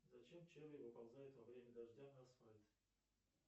зачем черви выползают во время дождя на асфальт